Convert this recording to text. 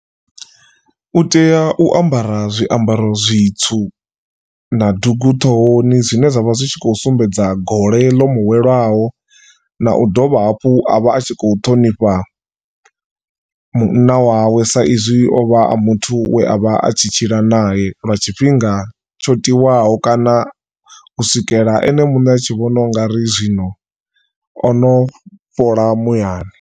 U tea u ambara zwiambaro zwitswu na dugu ṱhohoni zwine zwavha zwi tshi kho sumbedza gole ḽo muwelaho na u dovha hafhu a vha a tshi khou ṱhonifha munna wawe sa izwi o vha a muthu we avha a tshi tshila nae lwa tshifhinga tsho tiwaho kana u swikela ene muṋe a tshi vhona ungari zwino ono fhola muyani.